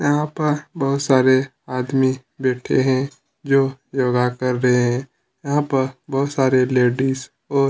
यहाँ पर बहुत सारे आदमी बैठे है जो योगा कर रहे है यहाँ पर बहुत सारे लेडिस और--